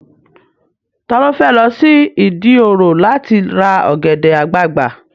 Ta ló fẹ́ lọ sí Ìdí òro láti ra ọ̀gẹ̀dẹ̀ àgbagbà?